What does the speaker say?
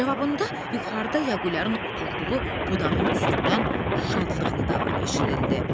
Cavabında yuxarıda Yağuliyarın oturduğu budağın üstündən şadlıq nidaları eşidildi.